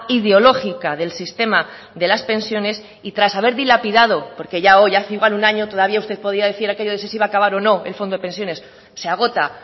ideología del sistema de las pensiones y tras haber dilapidado porque ya hoy hace igual un año todavía podía decir aquello de si se iba a acabar o no el fondo de pensiones se agota